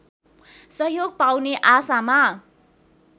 सहयोग पाउने आशामा